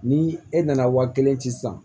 Ni e nana waa kelen ci sisan